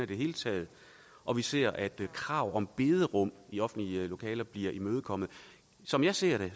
det hele taget og vi ser at krav om bederum i offentlige lokaler bliver imødekommet som jeg ser det